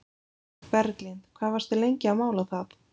Berglind: Hvað varstu lengi að mála það?